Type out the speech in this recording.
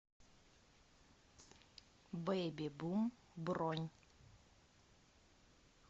бэби бум бронь